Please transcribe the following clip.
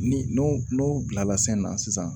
Ni n'o n'o bilala sen na sisan